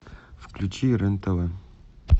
включи рен тв